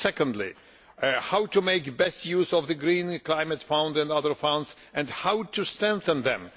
Secondly how to make the best use of the Green Climate Fund and other funds and how to strengthen them.